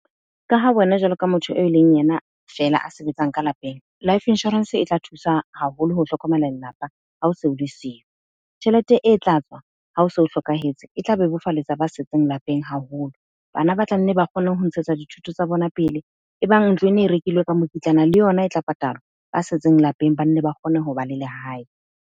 Ka ha wena jwalo ka motho e leng yena fela a sebetsang ka lapeng. Life Insurance e tla thusa haholo ho hlokomela lelapa, haose o le siyo. Tjhelete e tla tswa, ha o so hlokahetse. E tla bebofalletsa ba setseng lapeng haholo. Bana ba tla nne ba kgone ho ntshetsa dithuto tsa bona pele. E bang ntlo e ne e rekilwe ka mokitlana, le yona e tla patalwa. Ba setseng lapeng ba nne ba kgone ho ba le lehae.